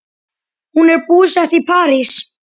Hún er búsett í París.